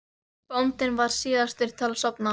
Bóndinn varð síðastur til að sofna.